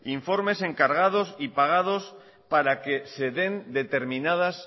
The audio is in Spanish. informes encargados y pagados para que se den determinadas